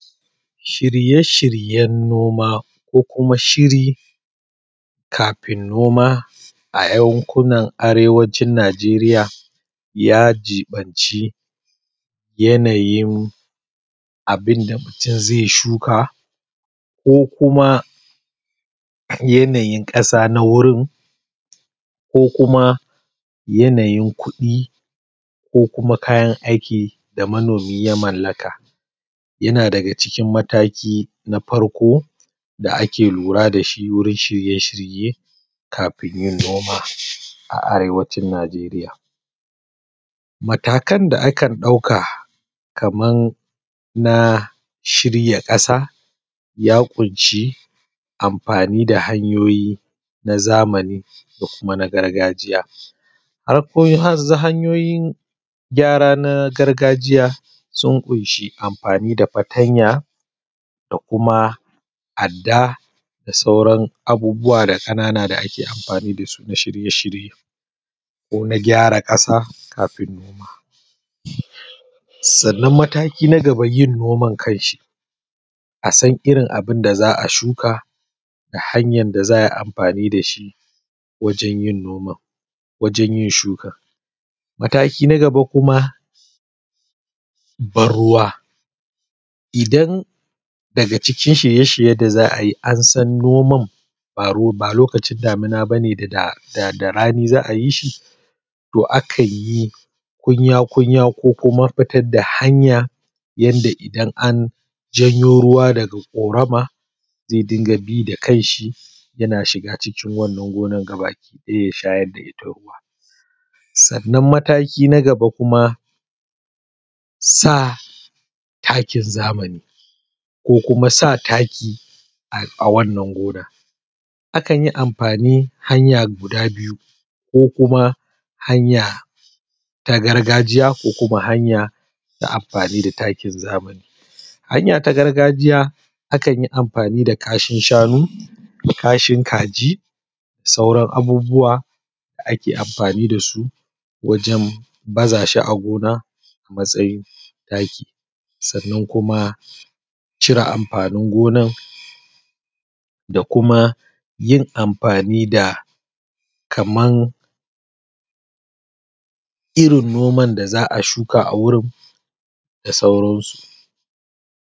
Shirye-shiryen noma, ko kuma shiri kafin noma a yankunana arewacin Najeriya ya jiɓanci yanayin abin da mutum zai shuka ko kuma yanayin ƙasa na wurin ko kuma yanayin kuɗi ko kuma kayan aiki da manomi ya mallaka. Yana daga cikin mataki na farko da ake lura da shi wurin shirye-shirye kafin yin noma a arewacin Najeriya. Matakan da akan ɗauka kaman na shirya ƙasa ya ƙunshi amfani da hanyoyi na zamani ko kuma na gargajiya. Farko za, hanyoyin gyara na gargajiya sun ƙunshi amfani da fatanya da kuma adda da sauran abubuwa da ƙanana da ake amfani da sun a shirye-shirye ko na gyara ƙasa kafin noma. Sannan mataki na gaba yin noman kanshi, a san irin abun da za a shuka da hanyan da za a yi amfani da shi wajen yin noman, wajen yin shukan. Mataki na gaba kuma ban-ruwa: Idan daga cikin shirye-shirye da za a yi an san noman ba lokacin damina bane da da da rani za a yi shi, to akan yi kunya-kunya ko kuma fitad da hanya yanda idan an janyo ruwa daga ƙorama zai dinga bi da kan shi yana shiga cikin wannan gonan gabaki ɗaya ya shayar da ita ruwa. Sannan mataki na gaba kuma sa takin zamani ko kuma sa taki a wannan gonan zai dinga bi da kanshi yana shiga wannan gona. Akan yi amfani hanya guda biyu ko kuma hanya ta gargajiya ko kuma hanya ta amfani da takin zamani. Hanya ta gargajiya akan yi amfani da kashin shanu da kashin kaji da sauran abubuwa ake amfani da su wajen baza su a gona a matsayin taki. Sannan kuma cire amfanin gonan, da kuma yin amfani da kaman irin noman da za a shuka a gurin da sauransu.